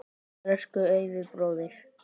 Elsku Eyvi bróðir.